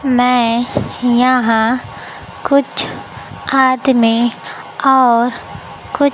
मैं यहां कुछ आदमी और कु--